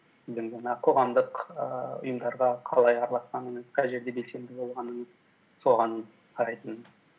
сіздің жаңағы қоғамдық ііі ұйымдарға қалай араласқаныңыз қай жерде белсенді болғаныңыз соған қарайтын